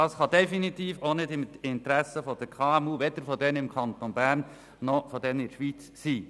Dies liegt definitiv nicht im Interesse der KMU im Kanton Bern und schweizweit.